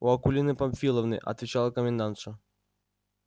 у акулины памфиловны отвечала комендантша